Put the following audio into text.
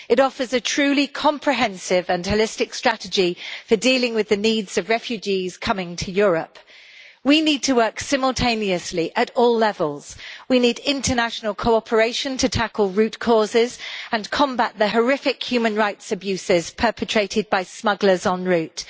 It offers a truly comprehensive and holistic strategy for dealing with the needs of refugees coming to Europe. We need to work simultaneously at all levels. We need international cooperation to tackle root causes and combat the horrific human rights abuses perpetrated by smugglers en-route.